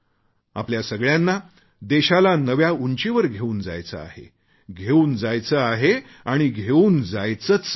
आपल्या सगळ्यांना देशाला नव्या उंचीवर घेऊन जायचे आहे घेऊन जायचे आहे आणि घेऊन जायचेच आहे